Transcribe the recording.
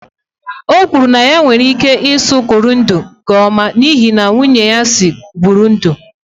O kwuru na ya nwere ike ịsụ kirundi nke ọma n'ihi na nwunye ya si Burundi.